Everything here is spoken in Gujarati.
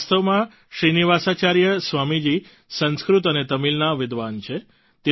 વાસ્તવમાં શ્રીનિવાસાચાર્ય સ્વામી જી સંસ્કૃત અને તમીલના વિદ્વાન છે